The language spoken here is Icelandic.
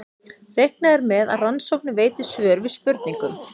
Reiknað er með að rannsóknir veiti svör við spurningum.